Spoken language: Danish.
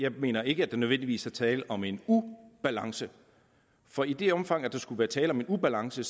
jeg mener ikke at der nødvendigvis er tale om en ubalance for i det omfang at der skulle være tale om en ubalance